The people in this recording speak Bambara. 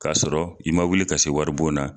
K'a sɔrɔ i ma wuli ka se wari bon na